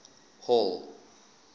hall